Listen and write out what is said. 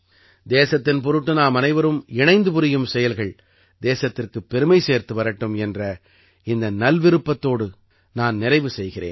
தேசத்தின் பொருட்டு நாமனைவரும் இணைந்து புரியும் செயல்கள் தேசத்திற்குப் பெருமை சேர்த்து வரட்டும் என்ற இந்த நல்விருப்பத்தோடு நான் நிறைவு செய்கிறேன்